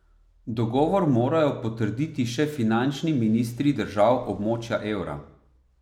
Dogovor morajo potrditi še finančni ministri držav območja evra.